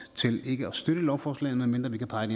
til ikke at støtte lovforslaget medmindre vi kan pege